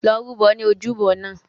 Lọ rúbọ ní ojúbọ náà!